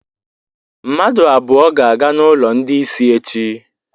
Mmadụ abụọ ga-aga n'ụlọ ndị isi echi.